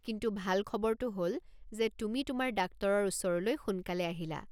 কিন্তু ভাল খবৰটো হ'ল যে তুমি তোমাৰ ডাক্টৰৰ ওচৰলৈ সোনকালে আহিলা।